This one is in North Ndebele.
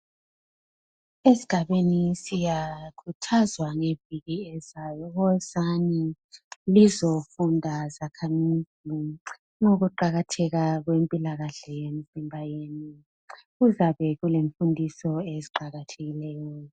Esigabeni siyakhuthazwa ngeviki ezayo, wozani lizofunda zakhamizi ngokuqakatheka kwempilakahle yemzimba yenu. Kuzabe kulemfundiso eziqakathekileyo.